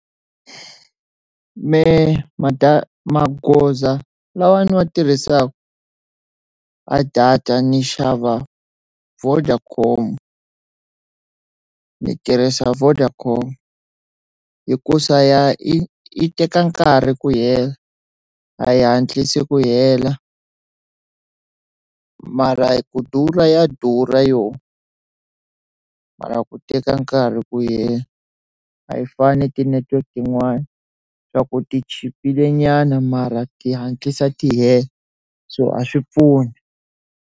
Mehe magoza lawa ni wa tirhisaka a data ni xava Vodacom ni tirhisa Vodacom hikusa ya yi teka nkarhi ku hela a yi hatlisi ku hela mara ku durha ya durha yoho mara ku teka nkarhi ku yi hela a yi fani ti network tin'wana loko ti chipile nyana mara ti hatlisa ti hela so a swi pfuni.